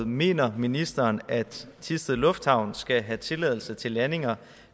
mener ministeren at thisted lufthavn skal have tilladelse til landinger